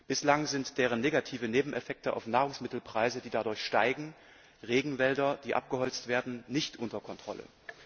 Bislang sind deren negativen Nebeneffekte auf Nahrungsmittelpreise, die dadurch steigen, oder Regenwälder, die abgeholzt werden, nicht unter Kontrolle.